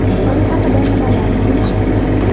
Xitoy haqida nimalarni bilish kerak?